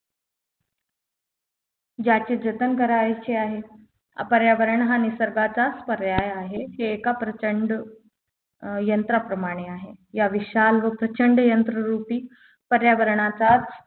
ज्याच्या जतन करायचे आहे पर्यावरण हा निसर्गाचा पर्याय आहे हे एका प्रचंड अं यंत्राप्रमाणे आहे या विशाल व प्रचंड यंत्र रुपी पर्यावरणाचाच